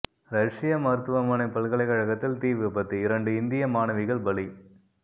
ரஷ்ய மருத்துவமனை பல்கலைக்கழகத்தில் தீ விபத்து இரண்டு இந்திய மாணவிகள் பலி